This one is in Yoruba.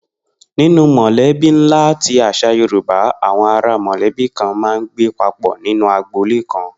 Ninú mò̩lé̩bí ńlá ti às̩à Yorùbá, àwo̩n ará mò̩lé̩bí kan máa ń gbé papò̩ nínú agboolé kan